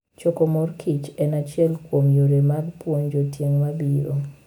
Choko mor kich en achiel kuom yore mag puonjo tieng' mabiro.